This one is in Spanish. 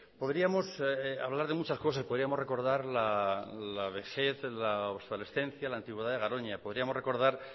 podríamos hablar de muchas cosas podríamos recordar la vejez la obsolescencia la antigüedad de garoña podríamos recordar